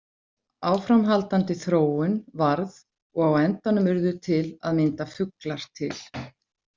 Áframhaldandi þróun varð og á endanum urðu til að mynda fuglar til.